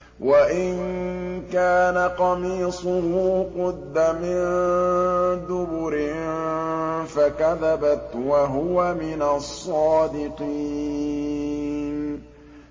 وَإِن كَانَ قَمِيصُهُ قُدَّ مِن دُبُرٍ فَكَذَبَتْ وَهُوَ مِنَ الصَّادِقِينَ